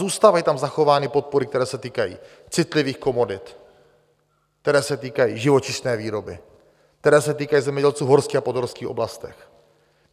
Zůstávají tam zachovány podpory, které se týkají citlivých komodit, které se týkají živočišné výroby, které se týkají zemědělců v horských a podhorských oblastech.